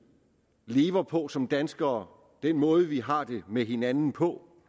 lever på som danskere og den måde vi har det med hinanden på